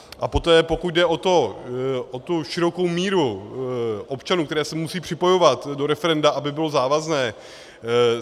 A poté, pokud jde o tu širokou míru občanů, kteří se musí připojovat do referenda, aby bylo závazné.